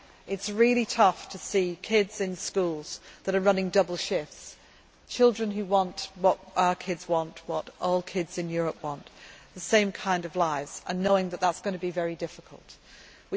really tough. It is really tough to see kids in schools that are running double shifts children who want what our kids want, what all kids in Europe want, the same kind of lives and knowing what the difficulties